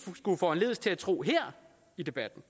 kunne foranlediges til at tro her i debatten